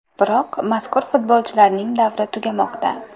Biroq mazkur futbolchilarning davri tugamoqda.